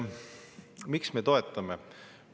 Miks me seda toetame?